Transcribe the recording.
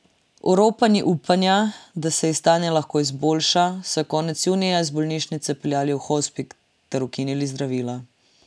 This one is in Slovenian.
Oropani upanja, da se ji stanje lahko izboljša, so jo konec junija iz bolnišnice prepeljali v hospic ter ukinili zdravila.